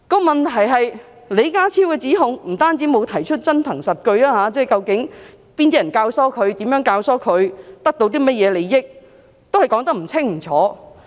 問題是李家超作出指控時並沒有提出真憑實據，被問及究竟是哪些人教唆年輕人，如何教唆年輕人，得到甚麼利益，他們卻說得不清不楚。